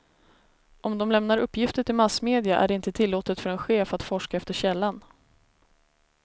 Om de lämnar uppgifter till massmedia är det inte tillåtet för en chef att forska efter källan.